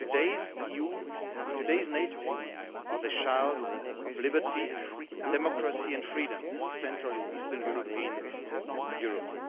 Today's EU and today's NATO are the children of liberty, democracy and freedom for Central and Eastern Europe.